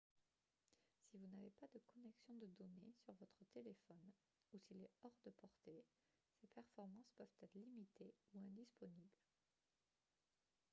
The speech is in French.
si vous n'avez pas de connexion de données sur votre téléphone ou s'il est hors de portée ses performances peuvent être limitées ou indisponibles